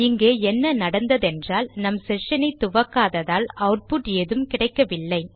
இங்கே என்ன நடந்ததென்றால் நம் செஷன் ஐ துவக்காததால் ஆட்புட் எதும் கிடைக்கவில்லை